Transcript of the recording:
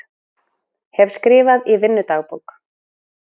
Hef skrifað í vinnudagbók